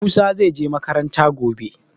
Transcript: Musa zai je makaranta gobe.